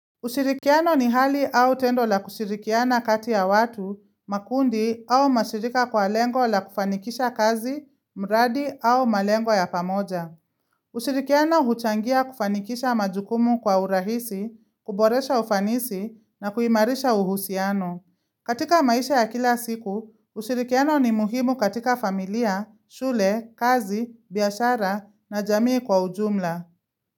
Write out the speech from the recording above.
Usirikiano ni hali au tendo la kushirikiana kati ya watu, makundi au mashirika kwa lengo la kufanikisha kazi, mradi au malengo ya pamoja. Ushirikiano huchangia kufanikisha majukumu kwa urahisi, kuboresha ufanisi na kuimarisha uhusiano. Katika maisha ya kila siku, ushirikiano ni muhimu katika familia, shule, kazi, biashara na jamii kwa ujumla.